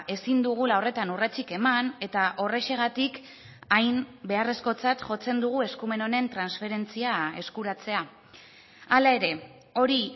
ezin dugula horretan urratsik eman eta horrexegatik hain beharrezkotzat jotzen dugu eskumen honen transferentzia eskuratzea hala ere hori